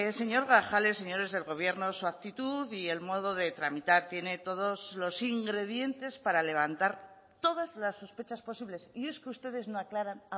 señor grajales señores del gobierno su actitud y el modo de tramitar tiene todos los ingredientes para levantar todas las sospechas posibles y es que ustedes no aclaran